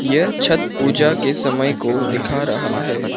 यह छठ पूजा के समय को दिखा रहा है।